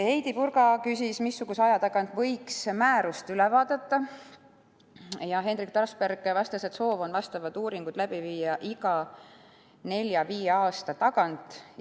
Heidy Purga küsis veel, mis aja tagant võiks määrust üle vaadata, ja Henrik Trasberg vastas, et soov on vastavad uuringud teha iga nelja-viie aasta tagant.